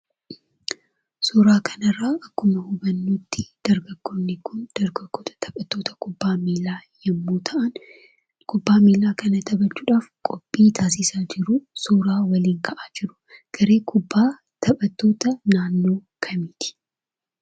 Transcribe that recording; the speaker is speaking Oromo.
Suuraa kanarraa akkuma hubannutti dargaggoonni kun dargaggoota taphattoota kubbaa miilaa yemmuu ta'an kubbaa miilaa kana taphachuudhaaf qophii taasisaa jiruu. Suuraa waliin ka'aa jiru. Garee kubbaa taphattoota naannoo kamiiti?